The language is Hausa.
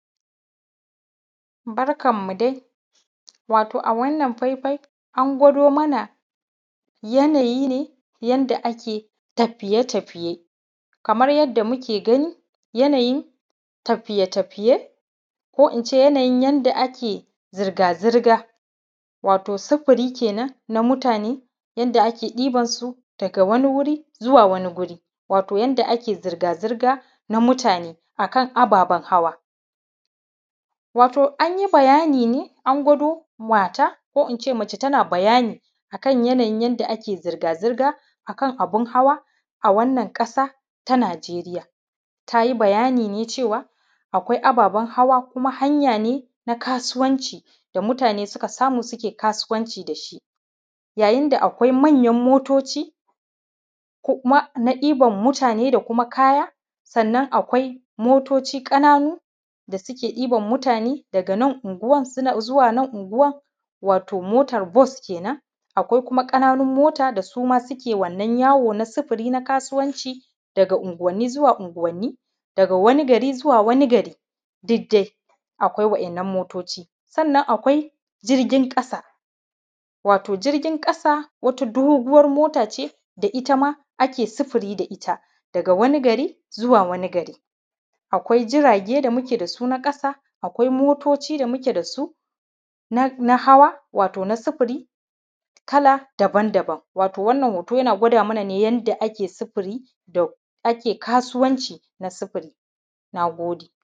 Barkan mu dai watau a wannan fai fai an gwado mana yanayi ne yanda ake tafiye tafiye kamar yadda muke gani yanayi tafiye tafiye ko ince yanda ake zirga zirga watau sufuri kenan na mutane yanda ake diban su daga wani wuri zuwa wani wuri watau yadda ake zirga zirga na mutane akan ababen hawa watau an yi bayani ne an gwado mata ko ince mace tana bayani akan yanayin yanda ake zirga zirga na mutane akan abun hawa a wannan ƙasa ta Najeriya tayi bayani ne cewa akwai ababen hawa ko kuma hanya ne na kasuwanci da mutane suka samu sana`a kasuwanci da shi yayin da akwai manyan motoci ko kuma na ɗiban mutane da kuma kaya sannan akwai motoci ƙananu da suke ɗiban mutane daga nan unguwan suna zuwa nan unguwan watau mota bus kenan akwai kuma ƙananun mota da suma suke wannan yawo na sufuri na kasuwanci daga unguwanni zuwa unguwanni daga wani gari zuwa wani gari duk dai akwai wa`yannan motoci sannan akwai jirgin ƙasa watau jirgin ƙasa wata doguwan mota ce da itama ake sufuri da ita daga wani gari zuwa wani gari akwai jirage da muke da su na ƙasa akwai motoci da muke da su na hawa watau na sufuri kala daban daban watau wannan hoto yana gwada mana ne yanda ake sufuri da kasuwanci na sufuri, na gode.